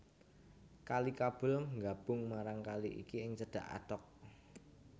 Kali Kabul nggabung marang kali iki ing cedhak Attock